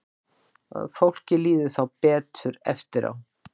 Fólki líður þá betur eftir á.